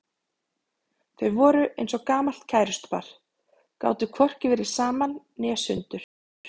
Þau voru eins og gamalt kærustupar, gátu hvorki verið saman né sundur.